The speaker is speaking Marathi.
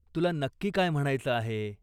तुला नक्की काय म्हणायचं आहे?